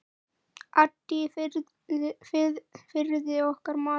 Addi í Firði, okkar maður.